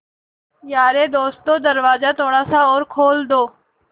यारे दोस्तों दरवाज़ा थोड़ा सा और खोल दो